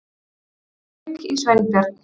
Það fauk í Sveinbjörn.